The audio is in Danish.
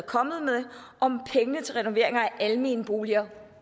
kommet med om pengene til renoveringer af almenboliger